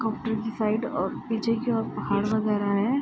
Comparative flight और पीछे के और पहाड़ वगैरह है।